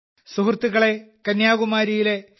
സുഹൃത്തുക്കളേ കന്യാകുമാരിയിലെ ശ്രീ